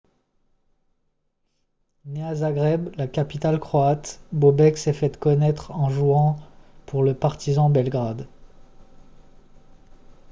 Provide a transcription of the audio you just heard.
né à zagreb la capitale croate bobek s'est fait connaître en jouant pour le partizan belgrade